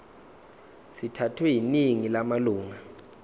sithathwe yiningi lamalunga